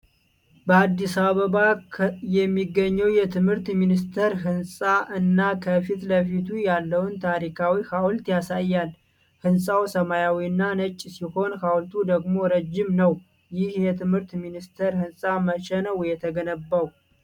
በአዲስ አበባ የሚገኘውን የትምህርት ሚኒስቴር ህንፃ እና ከፊት ለፊቱ ያለውን ታሪካዊ ሐውልት ያሳያል። ሕንፃው ሰማያዊና ነጭ ሲሆን ሐውልቱ ደግሞ ረጅም ነው። ይህ የትምህርት ሚኒስቴር ህንፃ መቼ ነው የተገነባው?